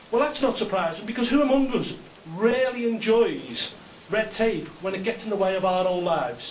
Well, that is not surprising because who among us really enjoys red tape when it gets in the way of our own lives?